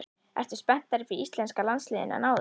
Ertu spenntari fyrir íslenska landsliðinu en áður?